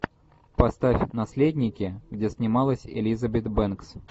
поставь наследники где снималась элизабет бэнкс